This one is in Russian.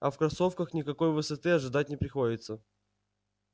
а в кроссовках никакой высоты ожидать не приходится